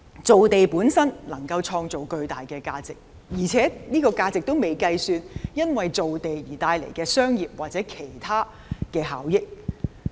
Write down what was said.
造地本身能夠創造巨大的價值，而且這個價值尚未計算因造地而帶來的商業或其他效益。